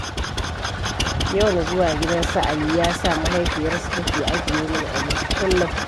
Yawan zuwa gidan su Ali, ya sa mahaifiyarsu ta ke ajiye min abinci kullum.